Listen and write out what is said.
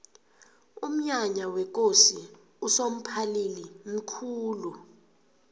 umnyanya wekosi usomphalili mkhulu